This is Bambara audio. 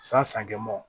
San san kɛmɛm